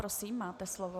Prosím, máte slovo.